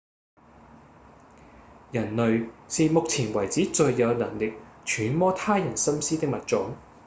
人類是目前為止最有能力揣摩他人心思的物種